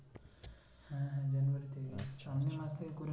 আচ্ছা আচ্ছা সামনের মাস থেকে করে নিব~